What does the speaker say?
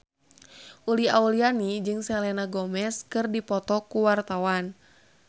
Uli Auliani jeung Selena Gomez keur dipoto ku wartawan